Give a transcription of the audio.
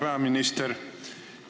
Hea peaminister!